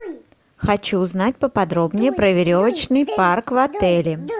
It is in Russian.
хочу узнать поподробнее про веревочный парк в отеле